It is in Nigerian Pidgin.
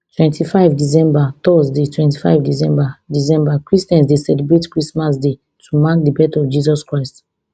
twenty-five december thursdaytwenty-five december december christians dey celebrate christmas day to mark di birth of jesus christ